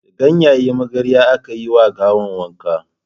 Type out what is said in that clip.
Da ganyen magarya aka yi ma gawan wanka jiya.